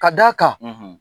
Ka d'a kan, .